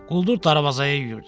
Quldur darvazaya yüyürdü.